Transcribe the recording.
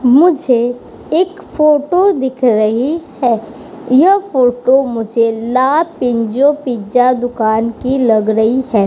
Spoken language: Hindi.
मुझे एक फोटो दिख रही है। यह फोटो मुझे ला पिंजो पिज़्ज़ा दुकान की लग रही है।